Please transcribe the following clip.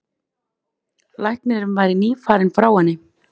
Læknirinn væri nýfarinn frá henni.